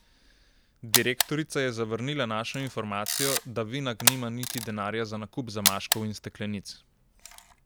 Direktorica je zavrnila našo informacijo, da Vinag nima niti denarja za nakup zamaškov in steklenic.